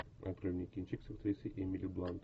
открой мне кинчик с актрисой эмили блант